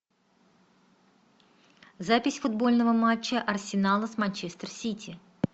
запись футбольного матча арсенала с манчестер сити